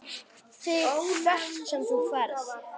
ÞIG HVERT SEM ÞÚ FERÐ.